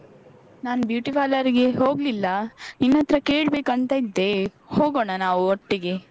ನಾನು beauty parlour ಗೆ ಹೋಗ್ಲಿಲ್ಲ ನಿನ್ನತ್ರ ಕೇಳ್ಬೇಕಂತಿದ್ದೆ ಹೋಗೋಣ ನಾವು ಒಟ್ಟಿಗೆ.